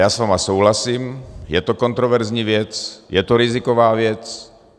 Já s vámi souhlasím, je to kontroverzní věc, je to riziková věc.